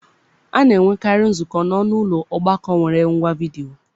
A na-enwekarị nzukọ n'ọnụ ụlọ ọgbakọ nwere ngwa vidiyo.